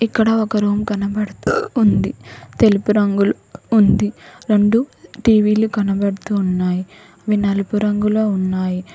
ఇక్కడ ఒక రూమ్ కనబడుతూ ఉంది. తెలుపు రంగులో ఉంది. రెండు టీ_వీ లు కనబడుతూ ఉన్నాయి. అవి నలుపు రంగులో ఉన్నాయి.